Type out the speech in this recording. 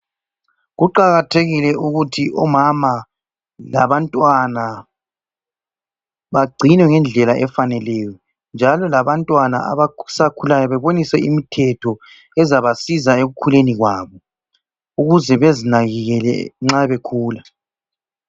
Kuqakathekile ukuthi omama labantwana bagcinwe ngendlela efaneleyo. Njalo labantwana abasakhulayo bebonise imithetho ezabasiza ekukhuleni kwabo ukuze bezinakekele nxa bekhula.